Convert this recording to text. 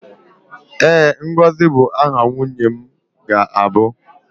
ee, ngozi bụ aha nwunye m ga-abụ.